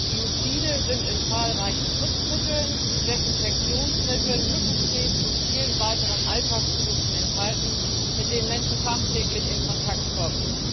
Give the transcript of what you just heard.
Biozide sind in zahlreichen Putzmitteln, Desinfektionsmitteln, Mückensprays und vielen weiteren Alltagsprodukten enthalten, mit denen Menschen tagtäglich in Kontakt kommen.